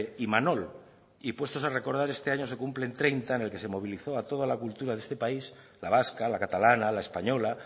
imanol y puestos a recordar este año se cumplen treinta en el que se movilizo a toda la cultura de este país la vasca la catalana la española